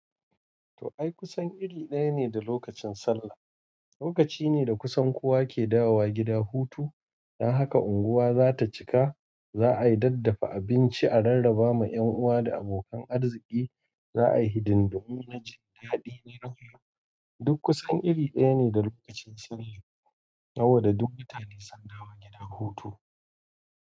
To ai kusan iri ɗaya ne da lokacin Sallah. Lokaci ne da kusan kowa ke dawowa gida hutu. Dan haka unguwa za ta cika. Za a yi daddafa abinci a rarraba ma 'yan uwa da abokan arziki. Za a yi hidindimun na jin daɗi ne nahiyu. Duk kusan iri ɗaya ne da lokacin Sallah. Hawarda duk mutane sun dawo gida hutu.